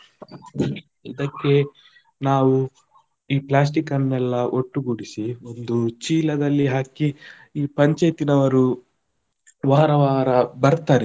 ಇದಕ್ಕೆ ನಾವು ಈ plastic ಅನ್ನೆಲ್ಲ ಒಟ್ಟುಗೂಡಿಸಿ, ಒಂದು ಚೀಲದಲ್ಲಿ ಹಾಕಿ ಈ ಪಂಚಾಯಿತಿನವರು ವಾರ ವಾರ ಬರ್ತಾರೆ.